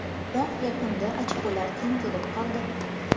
Biroq yakunda ochkolar teng kelib qoldi.